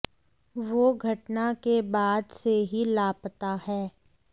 वो घटना के बाद से ही लापता है